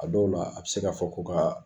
A dɔw la a bɛ se ka fɔ ko ka